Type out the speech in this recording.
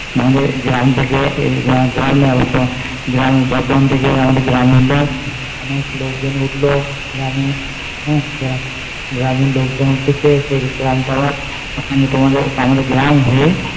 নাহলে গ্রাম থেকে গ্রামে যাবো তো গ্রাম বর্ধমান থেকে আমাদের গ্রামে উঠলো অনেক লোকজন উঠলো গ্রামে গ্রামের লোকজন উঠেছে সেই গ্রাম তা আবার ওখানে তোমাদের আমাদের গ্রাম হয়ে